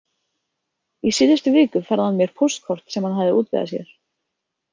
Í síðustu viku færði hann mér póstkort sem hann hafði útvegað sér.